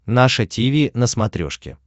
наше тиви на смотрешке